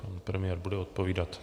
Pan premiér bude odpovídat.